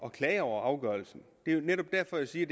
at klage over afgørelsen det er jo netop derfor jeg siger